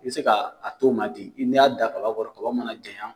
I bɛ se ka a t'o ma ten n'i y'a dan kaba kɔrɔ kaba mana janya.